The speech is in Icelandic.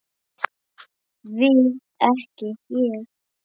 Við ekki Ég.